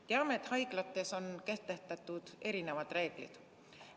Teame, et haiglates on kehtestatud erinevad reeglid.